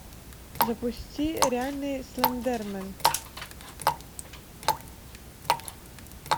запусти реальный слендермен